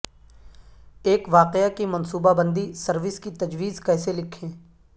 ایک واقعہ کی منصوبہ بندی سروس کی تجویز کیسے لکھیں